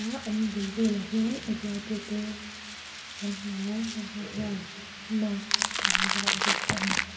ah an bul vel ah hian a zuartu te kan hmu a heng ho hian mask an vuah bawk a ni.